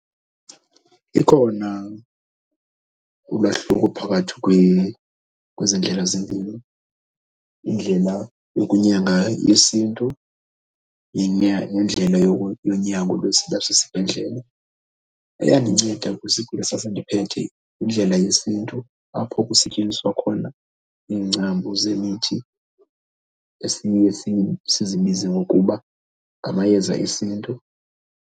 Ikhona ulwahluko phakathi kwezi ndlela zempilo, indlela yokunyanga yesiNtu nendlela yonyango lwasesibhedlele. Eyandinceda kwisigulo esasindiphethe yindlela yesiNtu apho kusetyenziswa khona iingcambu zemithi esiye sizibize ngokuba ngamayeza esiNtu.